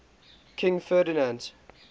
king ferdinand